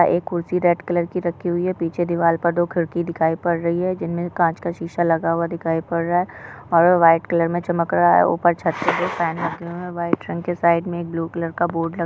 एक खुर्चि red colour की रखी हुई है। पीछे दीवाल पर दो खिड़की दिखाई पड़ रही है। जिनमें काच का शीशा लगा हुआ दिखाई पड़ रहा है और वे व्हाइट कलर मे चमक रहा है। उपर छत पे भी फ़ैन लगी हुई व्हाइट रंग के साइड मे एक ब्लू कलर का बोर्ड लगा --